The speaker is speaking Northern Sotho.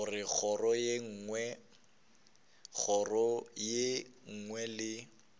goba kgoro ye nngwe le